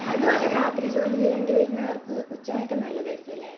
അതുപോലെ രാത്രി ജോലി ചെയ്യേണ്ടി വരുന്നവർക്ക് ഉച്ചമയക്കം നല്ലതായിരിക്കും അല്ലെ